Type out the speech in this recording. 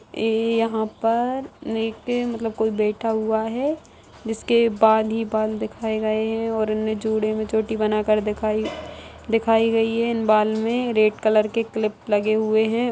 इ यहां पर मतलब कोई बैठा हुआ है जिसके बाल ही बाल देखाई गए हैं